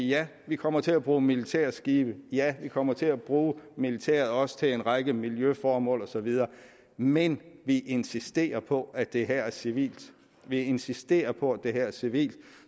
ja vi kommer til at bruge militærskibe ja vi kommer til også at bruge militæret også til en række miljøformål og så videre men vi insisterer på at det her er civilt vi insisterer på at det her er civilt